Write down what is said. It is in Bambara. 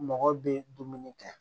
Mɔgɔ bɛ dumuni kɛ